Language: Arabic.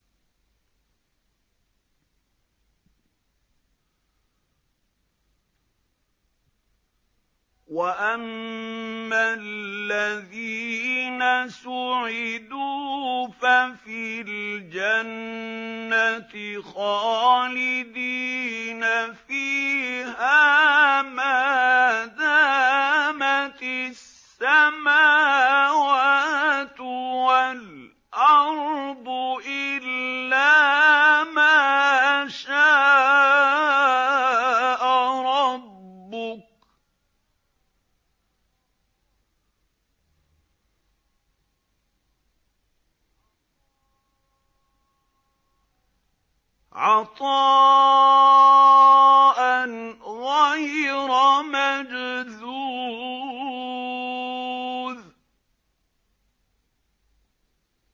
۞ وَأَمَّا الَّذِينَ سُعِدُوا فَفِي الْجَنَّةِ خَالِدِينَ فِيهَا مَا دَامَتِ السَّمَاوَاتُ وَالْأَرْضُ إِلَّا مَا شَاءَ رَبُّكَ ۖ عَطَاءً غَيْرَ مَجْذُوذٍ